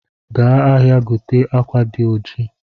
Gaa ahịa, gote akwa di oji